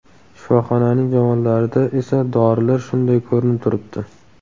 Shifoxonaning javonlarida esa dorilar shunday ko‘rinib turibdi.